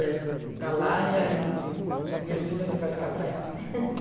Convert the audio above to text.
É está lá e aí if a minha filha disse que vai ficar para ela.